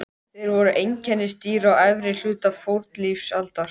Innrásin í Tékkóslóvakíu gleymd?